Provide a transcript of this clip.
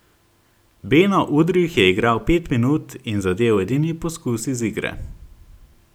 Beno Udrih je igral pet minut in zadel edini poskus iz igre.